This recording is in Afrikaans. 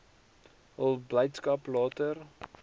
hul blydskap later